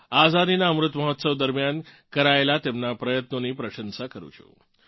આઝાદીનાં અમૃત મહોત્સવ દરમિયાન કરાયેલ તેમનાં પ્રયત્નોની પ્રશંસા કરું છું